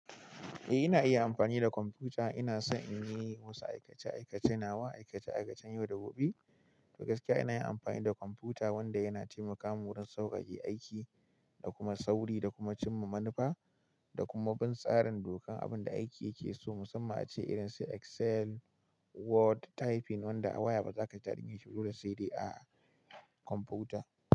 Eh ina iya amfani da kwamfuta. Ina son in yi wasu aikace-aikace nawa, aikace-aikacen yau da gobe. To gaskiya ina yin amfani da kwamfuta wanda yana taimaka min wurin sauƙaƙe aiki da kuma sauri da kuma cimma manufa da kuma bin tsarin dokar abun da aiki yake so. Musamman ace irin su Excel, Word, typing wanda a waya ba za ka ji daɗin yin shi ba dole sai dai a kwamfuta.